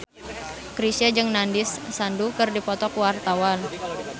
Chrisye jeung Nandish Sandhu keur dipoto ku wartawan